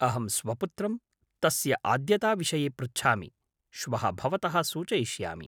अहं स्वपुत्रं तस्य आद्यताविषये पृच्छामि, श्वः भवतः सूचयिष्यामि।